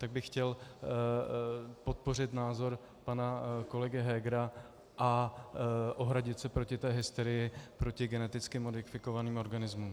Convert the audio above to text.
Tak bych chtěl podpořit názor pana kolegy Hegera a ohradit se proti té hysterii proti geneticky modifikovaným organizmům.